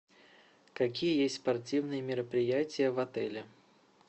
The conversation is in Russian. какие есть спортивные мероприятия в отеле